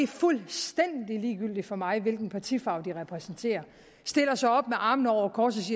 fuldstændig ligegyldigt for mig hvilken partifarve de repræsenterer stiller sig op med armene over kors